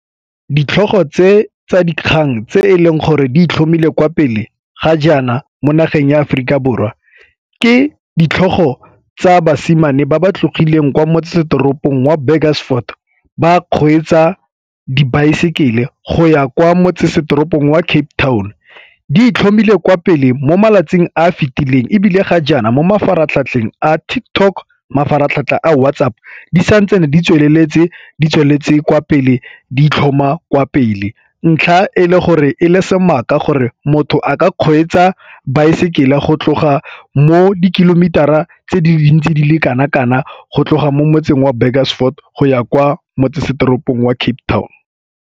Ditlhogo tse tsa dikgang tse e leng gore ditlhomile kwa pele ga jaana mo nageng ya Aforika Borwa ke ditlhogo tsa basimane ba ba tlotlegileng kwa motsesetoropong wa Burgersfort ba kgweetsa dibaesekele go ya kwa motsesetoropong wa Cape Town di itlhomile kwa pele mo malatsing a fitileng ebile ga jaana mo mafaratlhatlheng a TikTok, mafaratlhatlha a WhatsApp di sa ntsane di tsweletse, di tsweletse kwa pele di itlhoma kwa pele. Ntlha e le gore e le sebaka gore motho a ka kgweetsa baesekele go tloga mo di-kilometer-ra tse dintsi di le kana-kana go tloga mo motseng wa Burgersfort go ya kwa motsesetoropong wa Cape Town.